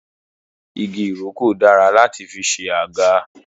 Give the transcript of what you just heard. Igi ìrókò dára láti fi ṣe àga